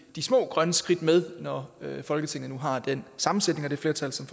små grønne skridt med når folketinget nu har den sammensætning og det flertal som